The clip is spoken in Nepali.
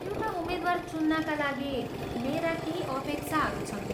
एउटा उम्मेद्वार चुन्नाका लागि मेरा केही अपेक्षाहरू छन्।